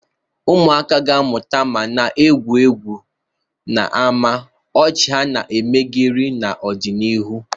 Ụmụaka ga-amụta ma na-egwuri egwu n'ámá, ọchị ha na-emegharị n'ọdịnihu.